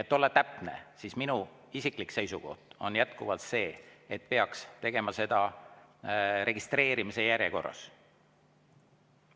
Et olla täpne, siis minu isiklik seisukoht on jätkuvalt see, et seda peaks tegema registreerimise järjekorras.